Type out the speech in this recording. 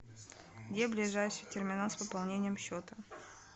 где ближайший терминал с пополнением счета